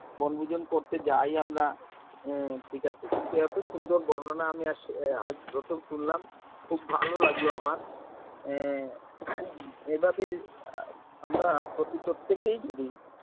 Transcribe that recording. বনভোজন করতে যাই আমরা ঠিক আছে কিন্তু এত সুন্দর বর্ণনা আমি আজ প্রথম শুনলাম খুব ভালো লাগলো আমার এভাবে আমরা প্রত্যেকেই